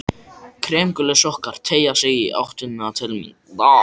Kremgulir sokkar teygja sig í áttina til mín.